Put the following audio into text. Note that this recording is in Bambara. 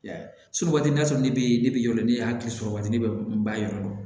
Y'a ye so waati n'a sɔrɔ ne bɛ ne bi yala ne y'a kɛ sɔrɔ waati ne b'a yɔrɔ dɔn